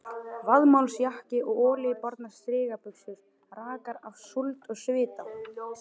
Vaðmálsjakki og olíubornar strigabuxur rakar af súld og svita.